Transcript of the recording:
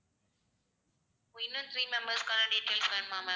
இன்னும் three members க்கான details வேணுமா ma'am